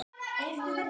spurði ég Ásu.